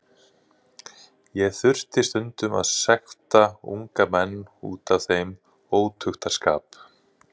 Ég þurfti stundum að sekta unga menn út af þeim ótuktarskap.